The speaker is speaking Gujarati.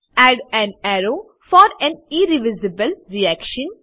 add an arrow for an irreversible reaction